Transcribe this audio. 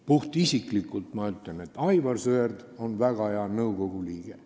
Puhtisiklikult ütlen, et Aivar Sõerd on väga hea nõukogu liige.